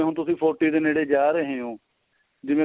ਤੁਸੀਂ forty ਦੇ ਨੇੜੇ ਜਾ ਰਹੇ ਓ ਜਿਵੇਂ